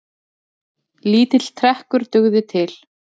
Lítill trekkur dugði til.